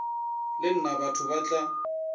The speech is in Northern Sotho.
le nna batho ba tla